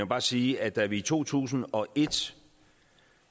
bare sige at da vi i to tusind og et